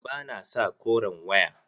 Ba na sa koren waya.